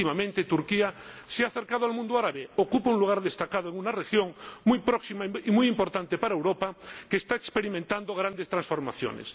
Últimamente Turquía se ha acercado al mundo árabe, ocupa un lugar destacado en una región muy próxima y muy importante para Europa y que está experimentando grandes transformaciones.